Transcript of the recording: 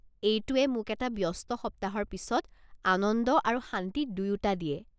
এইটোৱে মোক এটা ব্যস্ত সপ্তাহৰ পিছত আনন্দ আৰু শান্তি দুয়োটা দিয়ে।